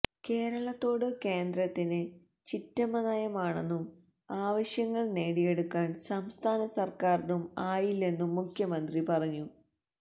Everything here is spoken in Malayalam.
കേരളത്തോട് കേന്ദ്രത്തിന് ചിറ്റമ്മ നയമാണെന്നും ആവശ്യങ്ങൾ നേടിയെടുക്കാൻ സംസ്ഥാന സർക്കാരിനും ആയില്ലെന്നും മുഖ്യമന്ത്രി പറഞ്ഞു